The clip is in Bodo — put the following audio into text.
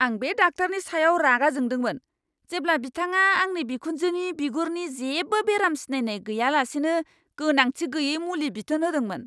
आं बे डाक्टारनि सायाव रागा जोंदोंमोन जेब्ला बिथांआ आंनि बिखुनजोनि बिगुरनि जेबो बेराम सिनायनाय गैयालासेनो गोनांथि गैयै मुलि बिथोन होदोंमोन!